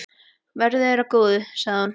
Verði þér að góðu, sagði hún.